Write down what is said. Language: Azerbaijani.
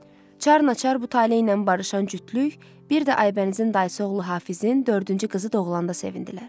Çar naçar bu taleyi ilə barışan cütlük, bir də Aybənizin dayısı oğlu Hafizin dördüncü qızı doğulanda sevindilər.